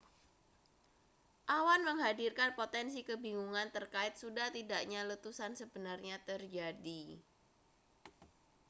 awan menghadirkan potensi kebingungan terkait sudah tidaknya letusan sebenarnya terjadi